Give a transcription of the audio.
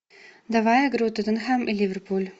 давай игру тоттенхэм и ливерпуль